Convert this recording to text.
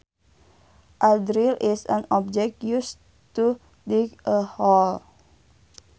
A drill is an object used to dig a hole